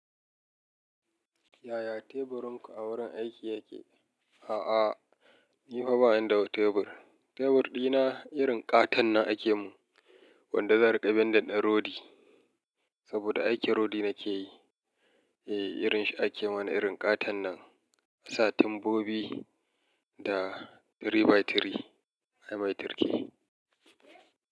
Yaya teburin ku a wurin aiki yake? A'a, ni fa bani da teburi Tebur dina irin ƙaton nan ake mun, wanda zan riƙa bin da ɗan rodi, saboda aikin rodi nake yi. Eh, irin shi ake mana irin ƙaton nan, asa tumbobi da three by three. Ai mai turki.